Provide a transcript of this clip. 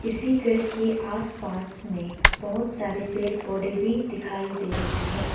इसी घर के आसपास में बहोत सारे पेड़ पौधे भी दिखाई दे रही है।